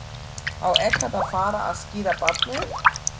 Á ekkert að fara að skíra barnið?